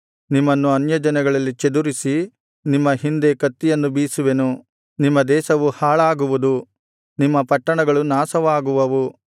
ನಿಮ್ಮನ್ನು ಅನ್ಯಜನಗಳಲ್ಲಿ ಚದುರಿಸಿ ನಿಮ್ಮ ಹಿಂದೆ ಕತ್ತಿಯನ್ನು ಬೀಸುವೆನು ನಿಮ್ಮ ದೇಶವು ಹಾಳಾಗುವುದು ನಿಮ್ಮ ಪಟ್ಟಣಗಳು ನಾಶವಾಗುವವು